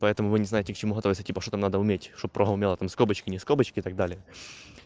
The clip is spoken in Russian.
поэтому вы не знаете к чему готовится типа что-то надо уметь чтобы программа умела там скобочки не скобочки и так далее